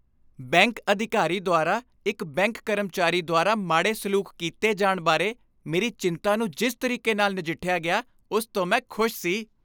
Bank ਅਧਿਕਾਰੀ ਦੁਆਰਾ ਇੱਕ ਬੈਂਕ ਕਰਮਚਾਰੀ ਦੁਆਰਾ ਮਾੜੇ ਸਲੂਕ ਕੀਤੇ ਜਾਣ ਬਾਰੇ ਮੇਰੀ ਚਿੰਤਾ ਨੂੰ ਜਿਸ ਤਰੀਕੇ ਨਾਲ ਨਜਿੱਠਿਆ ਗਿਆ ਉਸ ਤੋਂ ਮੈਂ ਖੁਸ਼ ਸੀ।